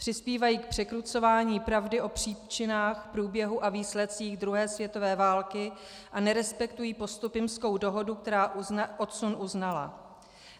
Přispívají k překrucování pravdy o příčinách, průběhu a výsledcích druhé světové války a nerespektují Postupimskou dohodu, která odsun uznala.